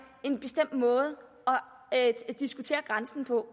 en bestemt måde at diskutere grænsen på